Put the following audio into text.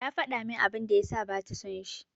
Ya faɗa min abin da ya sa bata son shi.